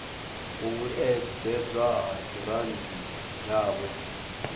u vhuedzedzwa ha giranthi yavho